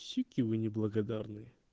суки вы неблагодарные